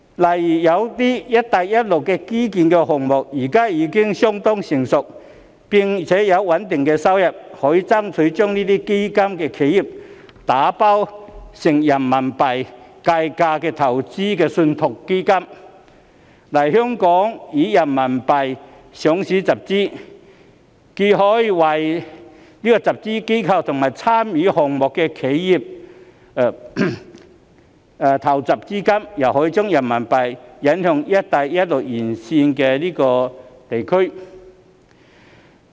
例如有些"一帶一路"的基建項目現在已經相當成熟並有穩定收入，可以爭取將這些基建打包成人民幣計價的投資信託基金，來港以人民幣上市集資，既可為集資機構及參與項目的企業籌措資金，又可將人民幣引向"一帶一路"沿線地區。